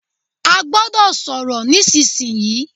A gbọ́dọ̀ sọ̀rọ̀ nísìsi yìí!